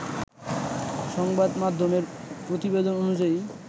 সংবাদ মাধ্যমের প্রতিবেদন অনুযায়ী